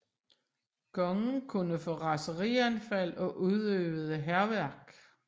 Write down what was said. Kongen kunne få raserianfald og udøvede hærværk